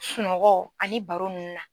Sunɔgɔ ani baro nunnu na.